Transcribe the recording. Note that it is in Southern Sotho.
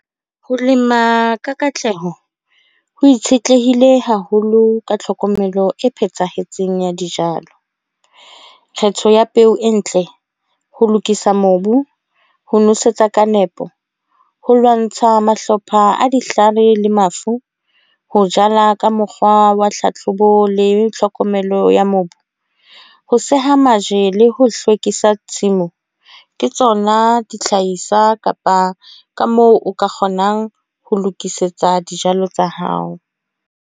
Ho lema ka katleho. Ho itshetlehile haholo ka tlhokomelo e phethahetseng ya dijalo. Kgetho ya peo e ntle, ho lokisa mobu, ho nosetsa ka nepo, ho lwantsha mahlopha a dihlale le mafu. Ho jala ka mokgwa wa tlhatlhobo le tlhokomelo ya mobu. Ho seha majele le ho hlwekisa tshimu. Ke tsona dihlahiswa kapa ka moo o ka kgonang ho lokisetsa dijalo tsa hao.